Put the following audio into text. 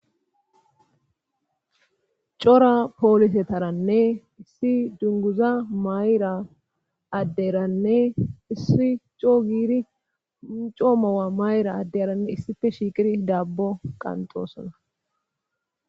cora poolise taranne issi dunguza mayra adderanne issi coo giiri coomowa mayra addeyaranne issife shiiqir dabbo qanxosona